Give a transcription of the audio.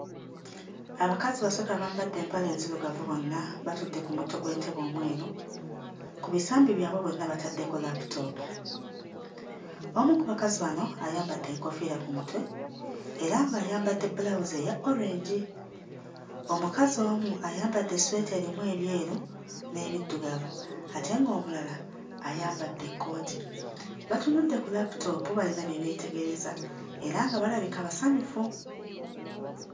Abakazi basatu abambadde empale enzirugavu bonna batudde ku mutto gw'entebe omweru. Ku bisambi byabwe bonna bataddeko laputoopu. Omu ku bakazi bano ayambadde enkoofiira ku mutwe era ng'ayambadde bbulawuzi eya orange, omukazi omu ayambadde essweta erimu ebyeru n'ebiddugavu ate ng'omulala ayambadde ekkooti. Batunudde ku laputoopu, bayina bye beetegereza era nga balabika basanyufu.